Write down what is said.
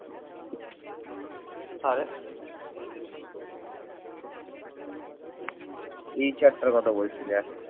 এই chat টার কথা বলছি দেখ ?